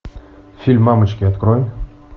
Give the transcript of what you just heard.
фильм мамочки открой